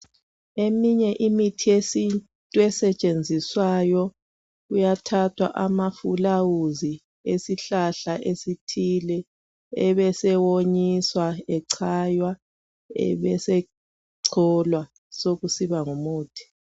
Eminye imithi yesintu, esetshenziswayo, kuyathathwa amafulawuzi, esihlahla esithile. Ebesewonyiswa, echaywa. Ebesecholwa, besekusiba ngumuthi.